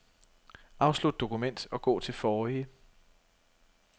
Afslut dokument og gå til forrige.